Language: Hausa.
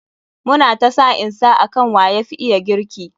Mu na ta sa'in sa akan wa yafi iya girki.